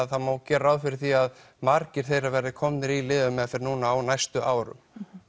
það má gera ráð fyrir því að margir þeirra verði komnir í lyfjameðferð núna á næstu árum